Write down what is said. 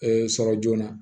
sɔrɔ joona